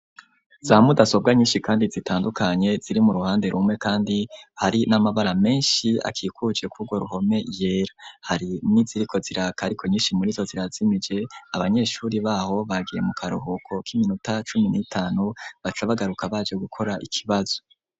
Za mudasobwa nyinshi kandi zitandukanye ziri mu ruhande rumwe kandi hari n'amabara menshi akikujwe kugwo ruhome yera, hari niziriko ziraka ariko nyinshi muri zo zirazimije abanyeshure baho bagiye mu karuhuko k'iminota cumi n'itanu baca bagaruka baje gukora ikibazo.